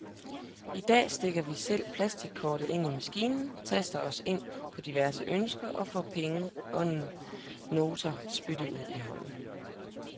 I dag stikker vi selv plastikkortet ind i maskinen, taster os ind på diverse ønsker og får penge og notaer spyttet ud i hånden.